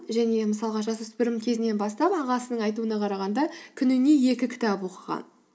және мысалға жас өспірім кезінен бастап ағасының айтуына қарағанда күніне екі кітап оқыған